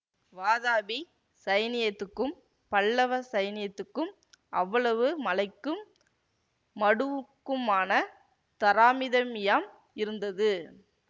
வாதாபி சைனியத்துக்கும் பல்லவ சைனியத்துக்கும் அவ்வளவு மலைக்கும் மடுவுக்குமான தராமிதம்மியம் இருந்தது